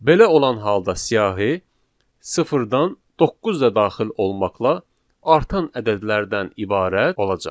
Belə olan halda siyahı sıfırdan doqquz da daxil olmaqla artan ədədlərdən ibarət olacaq.